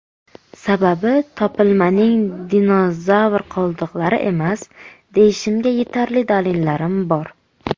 Sababi, topilmaning dinozavr qoldiqlari emas, deyishimga yetarli dalillarim bor.